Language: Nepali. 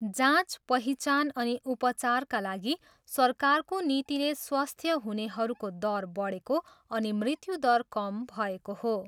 जाँच पहिचान अनि उपचारका लागि सरकारको नीतिले स्वस्थ्य हुनेहरूको दर बढेको अनि मृत्यु दर कम भएको हो।